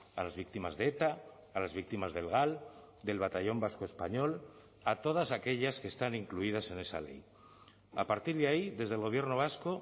a las víctimas de eta a las víctimas del gal del batallón vasco español a todas aquellas que están incluidas en esa ley a partir de ahí desde el gobierno vasco